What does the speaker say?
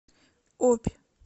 обь